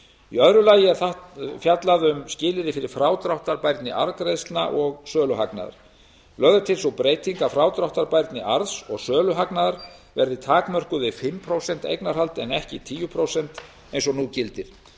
í öðru lagi er fjallað um skilyrði fyrir frádráttarbærni arðgreiðslna og söluhagnaðar lögð er til sú breyting að frádráttarbærni arðs og söluhagnaðar verði takmörkuð við fimm prósent eignarhald en ekki tíu prósent eins og nú gildir